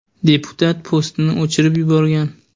Deputat postini o‘chirib yuborgan.